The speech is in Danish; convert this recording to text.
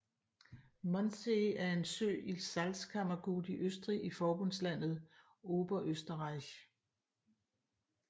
Mondsee er en sø i Salzkammergut i Østrig i forbundslandet Oberösterreich